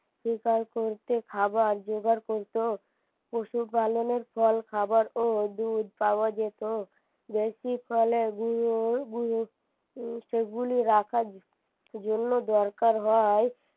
শিকার করতে খাবার জোগাড় করতো পশু পালনের ফল খাবার ও দুধ পাওয়া যেত বেশি ফলের সেগুলি রাখার জন্য দরকার হয়